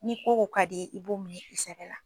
Ni ko o ko ka d'i ye i b'o minɛn i sɛbɛ la.